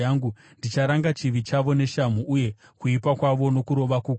ndicharanga chivi chavo neshamhu, uye kuipa kwavo nokurova kukuru;